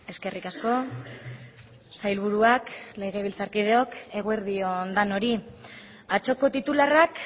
eskerrik asko sailburuak legebiltzarkideok eguerdi on denoi atzoko titularrak